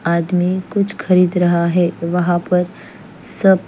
आदमी कुछ खरीद रहगा है वहा पर सब --